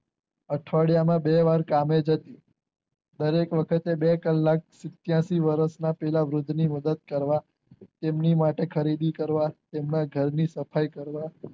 અઠવાડિયા માં બે વાર કામે જતી દરેક વખતે બે કલાક ત્યાંથી પેલા વૃદ્ધ ની મદ્દદ કરવા તેમની માટે ખરીદી કરવા તેમના ઘરની સફાઈ કરવા